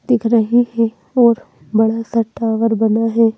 दिख रहे हैं और बड़ा सा टावर बना है।